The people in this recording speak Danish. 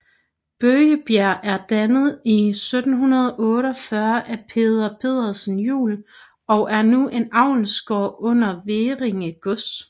Bøgebjerg er dannet i 1748 af Peder Pedersen Juel og er nu en avlsgård under Hverringe Gods